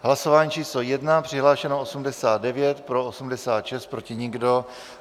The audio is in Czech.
Hlasování číslo 1, přihlášeno 89, pro 86, proti nikdo.